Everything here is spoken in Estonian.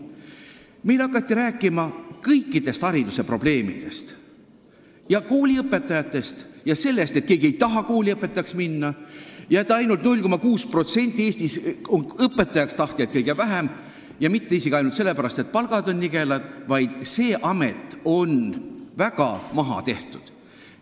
Meile hakati rääkima kõikidest hariduse probleemidest, kooliõpetajatest ja sellest, et keegi ei taha kooliõpetajaks minna ja ainult 0,6% Eestis on neid, kes tahavad õpetajaks saada –kõige vähem – ning mitte isegi ainult sellepärast, et palk on nigel, vaid sellepärast, et see amet on väga maha tehtud.